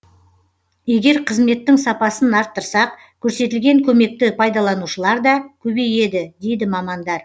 егер қызметтің сапасын арттырсақ көрсетілген көмекті пайдаланушылар да көбейеді дейді мамандар